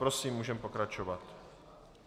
Prosím, můžeme pokračovat.